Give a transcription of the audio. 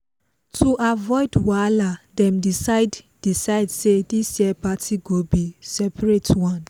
to avoid wahala dem decide decide say this year party go be seperate one